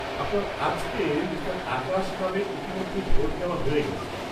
-আপনার আজকে মিঃ আকাশ নামে ইতিমধ্যেই ভোট দেওয়া হয়ে গেছে।